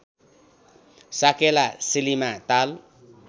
साकेला सिलीमा ताल